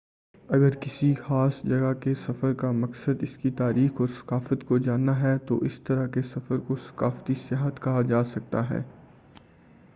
اگر کسی خاص جگہ کے سفر کا مقصد اس کی تاریخ اور ثقافت کو جاننا ہے تو اس طرح کے سفر کو ثقافتی سیاحت کہا جاتا ہے